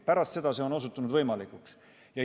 Pärast seda on see osutunud võimalikuks.